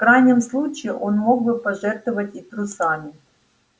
в крайнем случае он мог бы пожертвовать и трусами